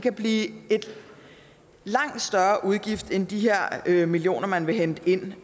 at blive en langt større udgift end de millioner man vil hente ind